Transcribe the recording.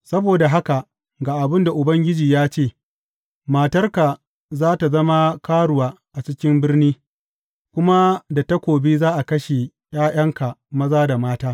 Saboda haka ga abin da Ubangiji ya ce, Matarka za tă zama karuwa a cikin birni, kuma da takobi za a kashe ’ya’yanka maza da mata.